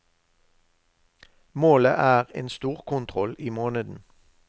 Målet er en storkontroll i måneden.